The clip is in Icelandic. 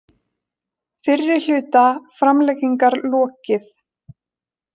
Fyrri hluta framlengingar lokið